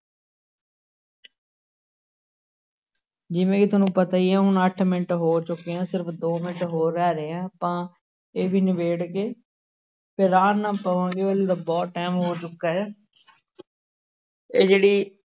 ਜਿਵੇਂ ਕਿ ਤੁਹਾਨੂੰ ਪਤਾ ਹੀ ਹੈ ਹੁਣ ਅੱਠ ਮਿੰਟ ਹੋ ਚੁੱਕੇ ਆ ਸਿਰਫ਼ ਦੋ ਮਿੰਟ ਹੋਰ ਰਹਿ ਆ ਆਪਾਂ ਇਹ ਵੀ ਨਿਬੇੜ ਕੇ ਫਿਰ ਆਰਾਮ ਨਾਲ ਸੌਂ ਜਾਇਓ ਬਹੁਤ time ਹੋ ਚੁੱਕਾ ਹੈ ਇਹ ਜਿਹੜੀ